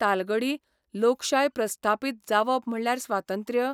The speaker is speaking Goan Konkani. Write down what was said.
तालगडी लोकशाय प्रस्थापीत जावप म्हणल्यार स्वातंत्र्य?